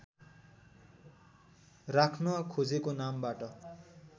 राख्न खोजेको नामबाट